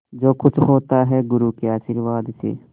जो कुछ होता है गुरु के आशीर्वाद से